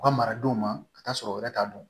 U ka maradenw ma ka taa sɔrɔ wɛrɛ t'a dɔn